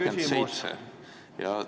... põhiseaduse §-le 27.